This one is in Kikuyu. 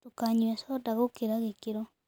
Ndũkanyũe soda gĩkĩra gĩkĩro